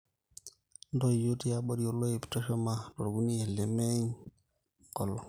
ntoyio tiabori oloip, tushuma tolkunia lemeim enkolong